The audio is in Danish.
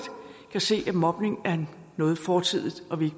kan se at mobning er noget fortidigt så vi